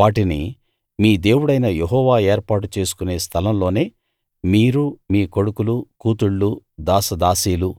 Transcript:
వాటిని మీ దేవుడైన యెహోవా ఏర్పాటు చేసుకునే స్థలం లోనే మీరు మీ కొడుకులు కూతుళ్ళు దాసదాసీలు